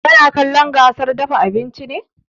Kana kallon gasar dafa abinci ne?